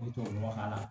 O tubabu nɔgɔ k'a la